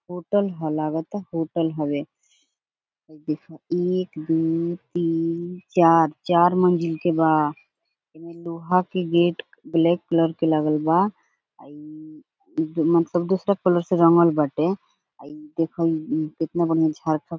hotel ह लागाता hotel हवे एक दू तीन चार चार मंजिल के बा एमे लोहा के गेट ब्लैक कलर के लागल बा इ मतलब दोसरा कलर से रंगल बाटे इ देखा केतना बढ़िया --